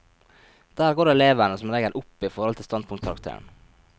Der går elevene som regel opp i forhold til standpunktkarakteren.